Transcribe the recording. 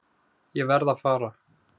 Ég verð að fara.